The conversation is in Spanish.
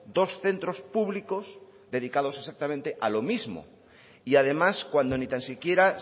dos centros públicos dedicados exactamente a lo mismo y además cuando ni tan siquiera